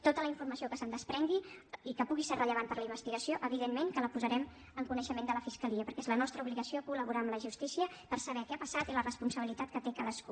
tota la informació que se’n desprengui i que pugui ser rellevant per a la investigació evidentment que la posarem en coneixement de la fiscalia perquè és la nostra obligació col·laborar amb la justícia per saber què ha passat i la responsabilitat que té cadascú